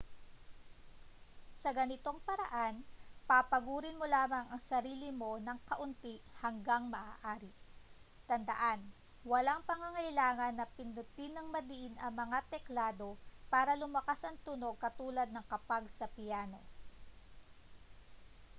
sa ganitong paraan papagurin mo lamang ang sarili mo nang kaunti hangga't maaari tandaan walang pangangailangan na pindutin nang madiin ang mga teklado para lumakas ang tunog katulad ng kapag sa piyano